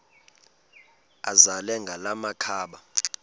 azele ngala makhaba